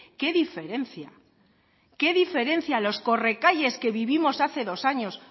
qué diferencia qué diferencia los correcalles que vivimos hace dos años